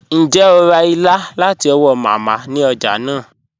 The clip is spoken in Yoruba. Ǹjẹ́ o rá ìlà láti ọ̀wọ̀ Mámá ni ọ̀já naa?